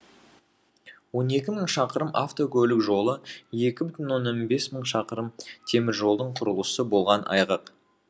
он екі мың шақырым авткөлік жолы екі бүтін оннан бес мың шақырым теміржолдың құрылысы болған айғақ